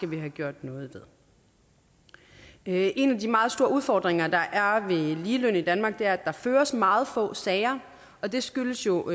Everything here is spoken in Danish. vi have gjort noget ved en af de meget store udfordringer der er ved ligeløn i danmark er at der føres meget få sager og det skyldes jo